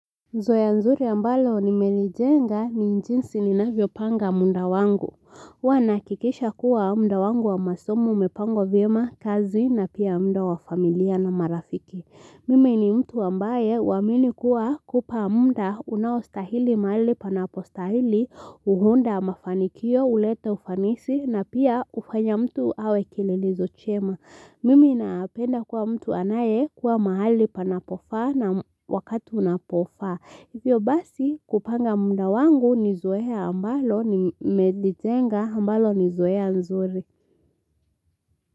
Zoea nzuri ambalo nimelijenga ni njinsi ninavyo panga muda wangu. Huwa na hakikisha kuwa muda wangu wa masomo umepangwa vyema kazi na pia muda wa familia na marafiki. Mimi ni mtu ambaye huamini kuwa kupa muda unaostahili mahali panapostahili huunda mafanikio ulete ufanisi na pia ufanya mtu awe kililizo chema. Mimi napenda kuwa mtu anaye kuwa mahali panapofaa na wakatu unapofaa. Hivyo basi kupanga muda wangu nizoea ambalo nimelijenga ambalo nizoea nzuri.